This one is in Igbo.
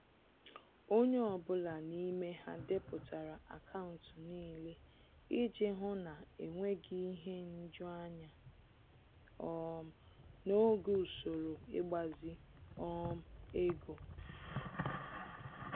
Onye ọbụla n'ime ha depụtara akaụntụ niile iji hụ na-enweghị ihe nju anya um n'oge usoro ịgbazi um ego